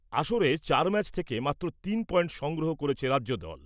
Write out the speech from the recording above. আসরে চার ম্যাচ থেকে মাত্র তিন পয়েন্ট সংগ্রহ করেছে রাজ্যদল।